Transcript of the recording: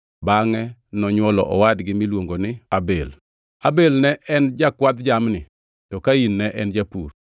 Bangʼe nonywolo owadgi miluongi ni Abel. Abel ne en jakwadh jamni to Kain ne en japur.